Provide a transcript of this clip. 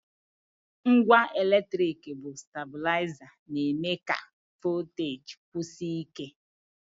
Ngwa eletrik bụ stablaịza na-eme ka voteji kwụsie ike.